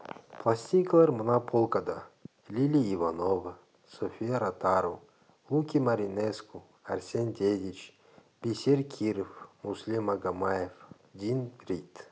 пластинкалар мына полкада лили иванова софия ротару луки маринеску арсен дедич бисер киров муслим магомаев дин рид